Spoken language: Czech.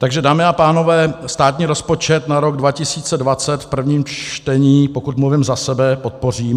Takže dámy a pánové, státní rozpočet na rok 2020 v prvním čtení, pokud mluvím za sebe, podpořím.